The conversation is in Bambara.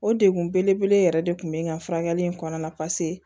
O degun belebele yɛrɛ de tun bɛ n ka furakɛli in kɔnɔna na